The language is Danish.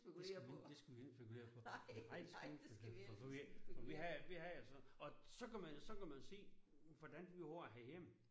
Det skal vi ikke det skal vi ikke spekulere på nej det skal vi ikke for for vi vi havde vi havde jo sådan. Og så kan man og så kan man se hvordan vi har det herhjemme